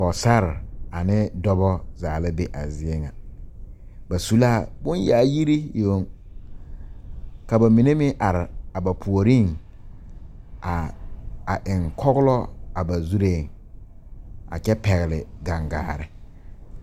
Pɔgesare ane dɔba zaa la be a zie ŋa ba su la bonyaayiri yoŋ ka ba mine meŋ are a ba puoriŋ a a eŋ kɔglɔ a ba zureeŋ a kyɛ pɛgle gangaare.